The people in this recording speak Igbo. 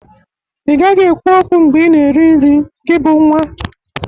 Ị gaghị ekwu okwu mbe ị na-eri nri, gị bụ nwa!